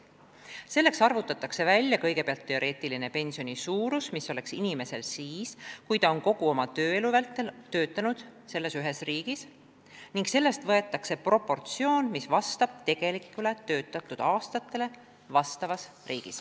Selleks arvutatakse kõigepealt välja teoreetiline pensioni suurus, mis oleks inimesel siis, kui ta oleks kogu oma tööelu vältel töötanud ühes riigis, ning seda korrigeeritakse vastavalt tegelikult töötatud aastate arvule.